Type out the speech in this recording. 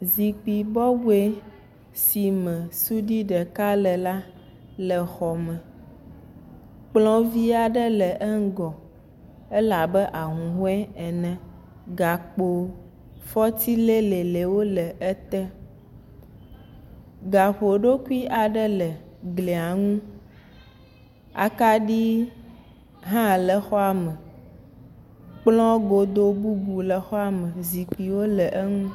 Zikpui bɔbɔ si me suɖui ɖeka le la le xɔme. Kplɔ̃ vi aɖe le eŋugɔ. Ele abe ahuhɔ̃e ene. Gakpo fɔti lẽlẽwo le ete. Gaƒoɖokui aɖe le glia ŋu. Akaɖi hã le xɔa me. Kplɔ̃ godo bubu le xɔa me. Zikpuiwo le eŋu.